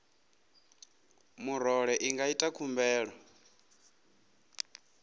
murole i nga ita khumbelo